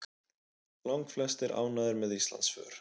Langflestir ánægðir með Íslandsför